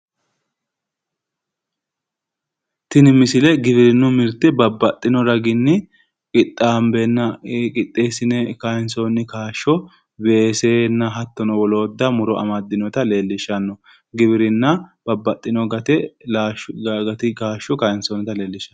Tini misile giwirinnu mirte babbaxxino raginni qixxaambenna qixxeessine kayinsoonni kaashsho weesenna hattono woloodda muro amaddinota leellishshanno. Giwirinna babbaxxino gate kaashsho kayinsoonnita leellishshanno.